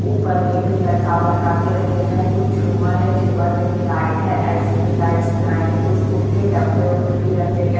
ऊपर में भी लटका लटका के रखे गए हैं कुछ झूमर है झूमर में भी लाइट है ऐसे भी लाइट्स बनाए गए कुछ गुड के डब्बे उब्बे भी रखे गए --